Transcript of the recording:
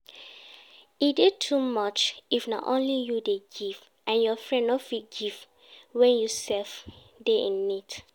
E de too much if na only you de give and your friend no fit give when you sef de in need